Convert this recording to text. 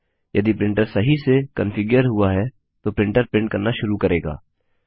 यदि प्रिंटर सही से कन्फिग्यर हुआ है तो प्रिंटर प्रिंट करना शुरू करेगा